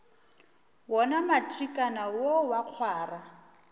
wona matrikana wo wa kgwara